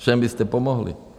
Všem byste pomohli.